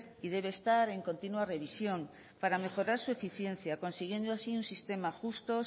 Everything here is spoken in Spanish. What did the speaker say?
y debe estar en continua revisión para mejorar su eficiencia consiguiendo así un sistema justo